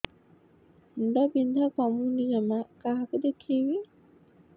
ମୁଣ୍ଡ ବିନ୍ଧା କମୁନି ଜମା କାହାକୁ ଦେଖେଇବି